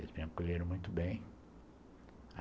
Eles me acolheram muito bem.